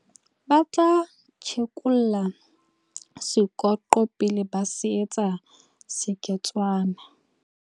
ba tla tjhekolla sekoqo pele ba se etsa seketswana